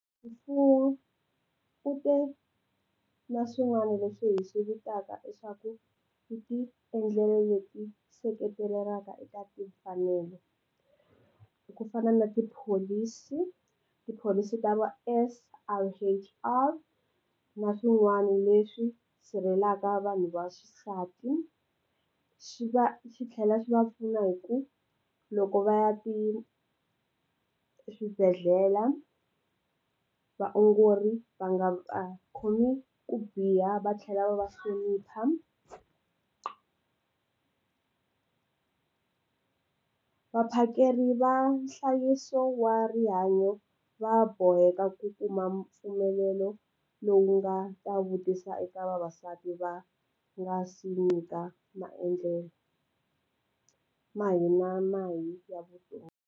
U te na swin'wana leswi hi swi vitaka leswaku yi ti endlela leswi seketeliwaka eka timfanelo ku fana na tipholisi, tipholisi ta va na swin'wana leswi sirhelelaka vanhu vaxisati xi va xi tlhela xi va pfuna hi ku loko va ya ti swibedhlele vaongori va nga khomiwi ku biha va tlhela va va hlonipha. Vaphakeri va nhlayiso wa rihanyo va boheka ku kuma mpfumelelo lowu nga ta vutisa eka vavasati va nga si nyika maendlelo, ma hina na hi ya vutomi.